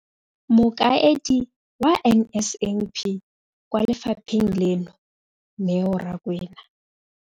Mokaedi wa NSNP kwa lefapheng leno, Neo Rakwena,